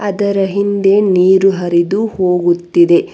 ಅದರ ಹಿಂದೆ ನೀರು ಹರಿದು ಹೋಗುತ್ತಿದೆ.